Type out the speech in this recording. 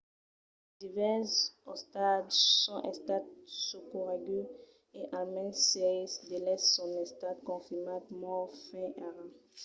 divèrses ostatges son estats socorreguts e almens sièis d'eles son estats confirmats mòrts fins ara